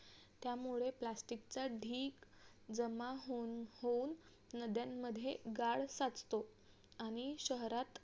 त्यामुळे plastic चा ढीग जमा होऊन नद्यांमध्ये गाळ साचतो आणि शहरात